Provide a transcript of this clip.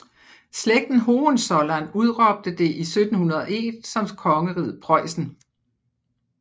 Slægten Hohenzollern udråbte det i 1701 som kongeriget Preussen